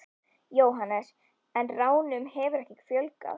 Jóhannes: En ránum hefur ekki fjölgað?